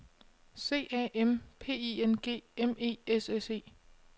C A M P I N G M E S S E